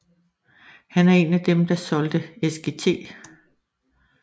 Han er en af dem der holder Sgt